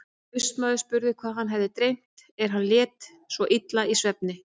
Austmaður spurði hvað hann hefði dreymt er hann lét svo illa í svefni.